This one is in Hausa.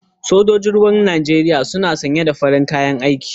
Sojojin ruwan Najeriya na sanye da farar kalar kayan aiki.